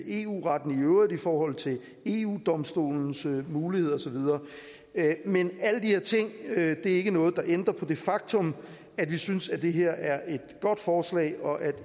eu retten i øvrigt i forhold til eu domstolens muligheder og så videre men alle de her ting er ikke noget der ændrer på det faktum at vi synes at det her er et godt forslag og